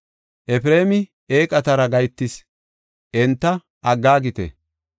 Efreemi eeqatara gahetis; enta aggaagite.